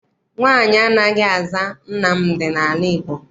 Nwaanyị anaghị aza Nnamdị n'ala Igbo.